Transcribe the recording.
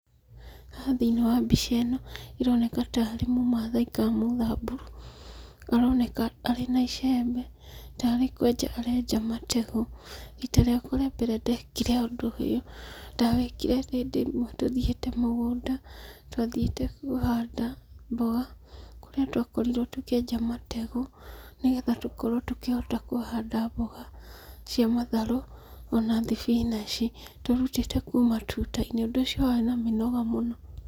Haha thĩiniĩ wa mbica ĩno ĩroneka tarĩ mũmathai ka mũthamburu. Aroneka arĩ na icembe, tarĩ kwenja arenja mategũ. Rita rĩakwa rĩa mbere ndekire ũndũ ũyũ, ndawĩkire hĩndĩ ĩmwe tũthiĩte mũgũnda, twathiĩte kũhanda mboga, kũrĩa twakorirwo tũkĩenja mategũ, nĩgetha tũkorwo tũkĩhota kũhanda mboga cia matharũ, ona thibinaci tũrutĩte kuuma tuta-inĩ. Ũndũ ũcio warĩ na mĩnoga mũno.